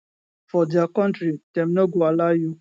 for dia kontri dem no go allow you